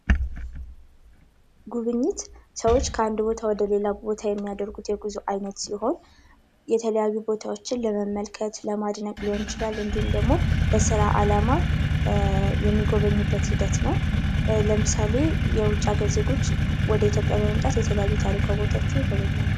ጉብኝት ሰዎች ከአንድ ቦታ ወደ ሌላ ቦታ የሚያደርጉት የጉዞ ዓይነት ሲሆን የተለያዩ ቦታዎችን ለመመልከት ለማድነቅ ሊሆን ይችላል እንዲሁም ደግሞ ለስራ ዓላማ የሚጐበኙበት ሂደት ነው ። ለምሳሌ የውጭ ሀገር ዜጎች ወደ ኢትዮጵያ በመምጣት የተለያዩ ታሪካዊ ቦታዎችን ይጎበኛሉ ።